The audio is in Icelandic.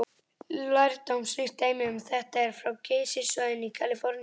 Lærdómsríkt dæmi um þetta er frá Geysissvæðinu í Kaliforníu.